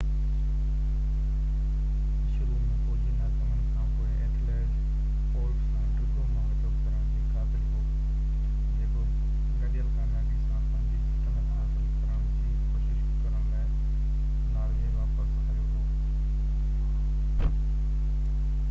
شروع ۾ فوجي ناڪامين کانپوءِ اٿيلريڊ اولاف سان ڊگهو معاهدو ڪرڻ جي قابل هو جيڪو گڏيل ڪاميابي سان پنهنجي سلطنت حاصل ڪرڻ جي ڪوشش ڪرڻ لاءِ ناروي واپس آيو هو